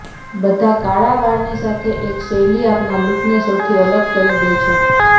બધા કાળા વાળની સાથે એક શૈલી આપના લૂકને સૌથી અલગ કરી દે છે